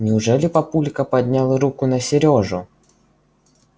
неужели папулька поднял руку на серёжу